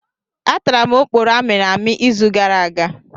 Atara m oporo amịrị amị izu gara aga.